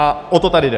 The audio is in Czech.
A o to tady jde.